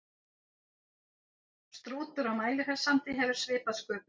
Strútur á Mælifellssandi hefur svipað sköpulag.